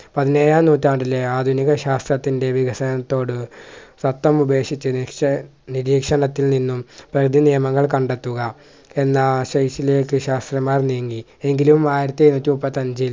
പതിനേഴാം നൂറ്റാണ്ടിലെ ആധുനിക ശാസ്ത്രത്തിൻ്റെ വികസനത്തോട് ഉപേക്ഷിച് നിശ്ച നിരീക്ഷണത്തിൽ നിന്നും പ്രകൃതി നിയമങ്ങൾ കണ്ടെത്തുക എന്ന ലേക് ശാസ്ത്രജ്ഞാന്മാർ നീങ്ങി എങ്കിലും ആയിരത്തി അഞ്ഞൂറ്റി മുപ്പത്തി അഞ്ചിൽ